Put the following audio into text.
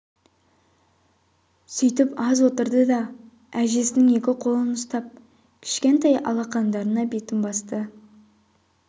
сүйтіп аз отырды да әжесінің екі қолын ұстап кішкентай алақандарына бетін басты